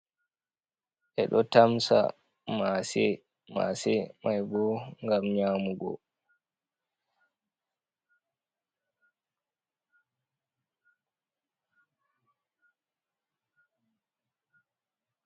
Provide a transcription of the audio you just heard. Ɓe ɗo tamsa maase, maase mai bo ngam nyamugo.